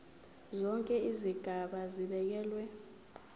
zonke izigaba zibekelwe